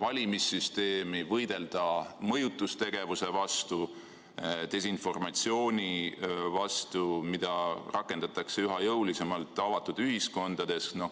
valimissüsteemi, võidelda mõjutustegevuse vastu, desinformatsiooni vastu, mida avatud ühiskondades rakendatakse üha jõulisemalt.